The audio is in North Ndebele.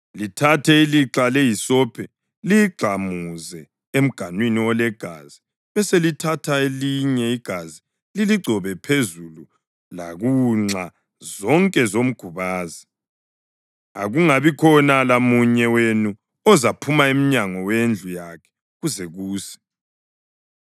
Lithathe ilixha lehisophi liyigxamuze emganwini olegazi beselithatha elinye igazi liligcobe phezulu lakunxa zonke zomgubazi. Akungabikhona lamunye wenu ozaphuma emnyango wendlu yakhe kuze kuse.